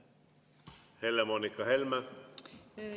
Helle-Moonika Helme!